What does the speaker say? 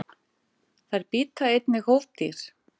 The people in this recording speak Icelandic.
Þær bíta einnig hófdýr.